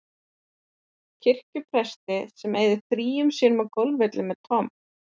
kirkjupresti sem eyðir fríum sínum á golfvellinum með Tom